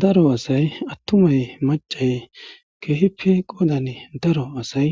daro asay attumay macay keehipe qoodan daro asay